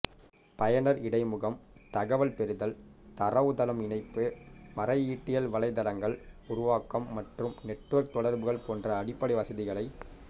பயனர் இடைமுகம் தகவல் பெறுதல் தரவுத்தளம் இணைப்பு மறையீட்டியல் வலைத்தளங்கள் உருவாக்கம் மற்றும் நெட்வொர்க் தொடர்புகள் போன்ற அடிப்படை வசதிகளை